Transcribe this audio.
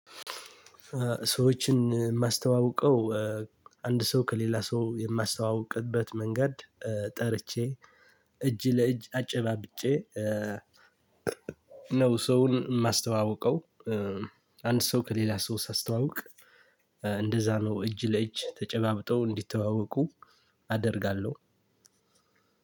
ሰዎችን የማስተዋውቀው እ አንድ ሰው ከሌላ ሰው የማስተዋውቅበት መንገድ እ ጠርቼ እጅ ለእጅ አጨባብጬ እ ነው ሰውን የማስተዋውቀው። እ አንድ ሰው ከሌላ ሰው ሳስተዋውቅ እ እንደዛ ነው እጅ ለእጅ ተጨባብጠው እንዲተዋወቁ አደርጋለሁ።